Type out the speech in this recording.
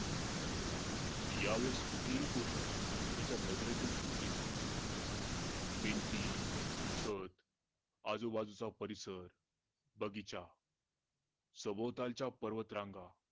या वेळी कुठलीही गोष्ट त्याचा नजरेतून सुटली नाही भिंती, छत आजूबाजूचा परिसर बगीचा सभोवतालच्या पर्वत रांगा